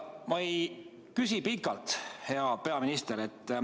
Ma ei küsi pikalt, hea peaminister.